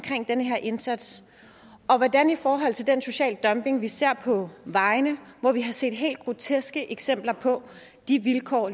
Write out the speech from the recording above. den her indsats og hvordan i forhold til den sociale dumping som vi ser på vejene hvor vi har set helt groteske eksempler på de vilkår